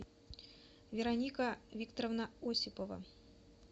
вероника викторовна осипова